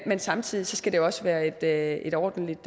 men samtidig skal det også være et være et ordentligt